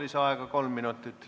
Lisaaeg kolm minutit.